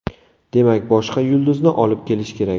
Demak, boshqa yulduzni olib kelish kerak.